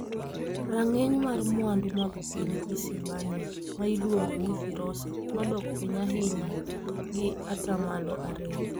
Rang'iny mar mwandu mag piny Isibania ma iluongo ni Firosa nodok piny ahinya gi ata malo ariyo.